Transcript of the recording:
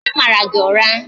Onye mara gị ụra?